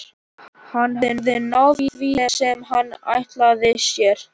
Hann hafði náð því sem hann ætlaði sér.